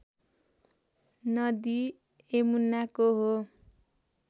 नदी यमुनाको हो